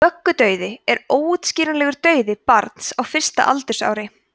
vöggudauði er óútskýranlegur dauði barns á fyrsta aldursári